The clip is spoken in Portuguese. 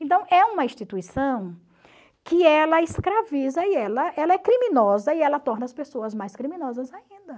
Então, é uma instituição que ela escraviza e ela ela é criminosa e ela torna as pessoas mais criminosas ainda.